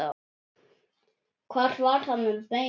Hvað var hann að meina?